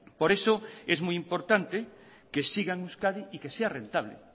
por eso es muy importante que siga en euskadi y que sea rentable